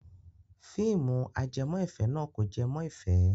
Fíìmù ajẹmọ́-ìfẹ́ náà kò jẹ mọ́ ìfẹ́.